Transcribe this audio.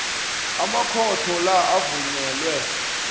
amakhotho la avunyelwe